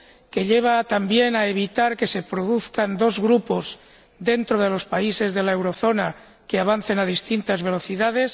que lleva también a evitar que se produzcan dos grupos, dentro de los países de la eurozona, que avancen a distintas velocidades